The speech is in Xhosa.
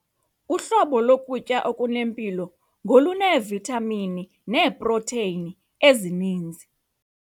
Uhlobo lokutya okunempilo ngoluneevithamini neeprotheyini ezininzi.